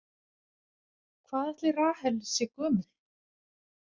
Hvað ætli Rahel sé gömul?